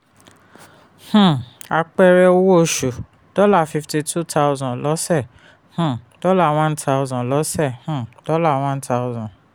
um àpẹrẹ: owó oṣù dollar fifty two thousand lọ́sẹ̀ um dollar one thousand. lọ́sẹ̀ um dollar one thousand